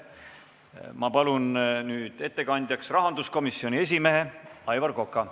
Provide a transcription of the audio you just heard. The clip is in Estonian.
Ma palun ettekandjaks rahanduskomisjoni esimehe Aivar Koka!